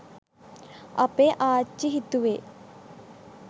අපේ ආච්චි හිතුවේ